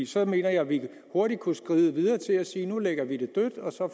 så mener jeg at vi hurtigt kunne skride videre til at sige nu lægger det dødt